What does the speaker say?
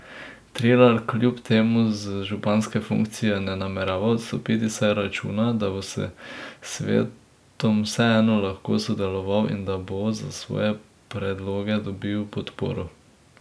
Trilar kljub temu z županske funkcije ne namerava odstopiti, saj računa, da bo s svetom vseeno lahko sodeloval in da bo za svoje predloge dobil podporo.